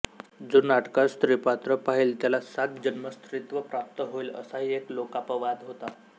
जो नाटकात स्त्रीपात्र पाहील त्याला सात जन्म स्त्रीत्व प्राप्त होईल असाही एक लोकापवाद होता